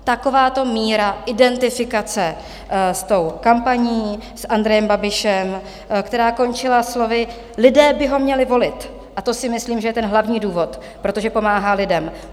Takováto míra identifikace s tou kampaní, s Andrejem Babišem, která končila slovy: "Lidé by ho měli volit, a to si myslím, že je ten hlavní důvod, protože pomáhá lidem."